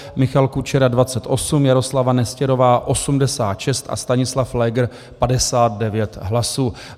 Michal Kučera 28, Jaroslava Nestěrová 86 a Stanislav Pfléger 59 hlasů.